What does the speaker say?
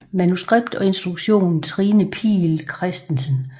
Manuskript og instruktion Trine Piil Christensen